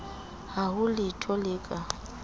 ha ho letho le ka